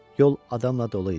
Yol adamla dolu idi.